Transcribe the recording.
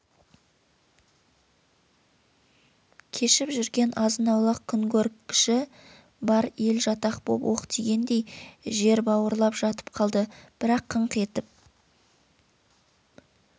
кешіп жүрген азын-аулақ күнкөргіші бар ел жатақ боп оқ тигендей жер бау ырлап жатып қалды бірақ қыңқ етіп